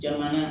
Jamana